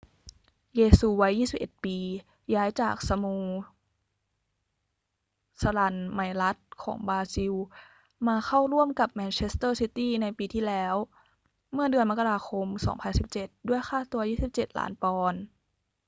เยซูวัย 21 ปี ย้ายจากสโมสรัลไมรัสของบราซิลมาเข้าร่วมกับแมนเชสเตอร์ซิตี้ในปีที่แล้วเมื่อเดือนมกราคม 2017 ด้วยค่าตัว 27 ล้านปอนด์